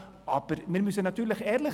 Aber wir müssen ehrlich sein: